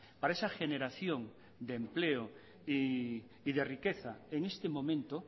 para esa generación de empleo y de riqueza en este momento